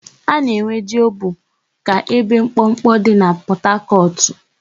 A na-ewe Diobu ka ebe mkpọkpọ dị na Pọtakọtụ